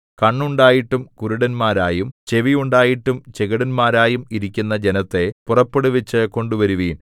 കണ്ണുണ്ടായിട്ടും കുരുടന്മാരായും ചെവിയുണ്ടായിട്ടും ചെകിടന്മാരായും ഇരിക്കുന്ന ജനത്തെ പുറപ്പെടുവിച്ചു കൊണ്ടുവരുവിൻ